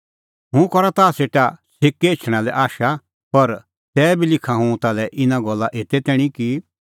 हुंह करा ताह सेटा छ़ेकै एछणें आशा पर तैबी लिखा हुंह ताल्है इना गल्ला एते तैणीं कि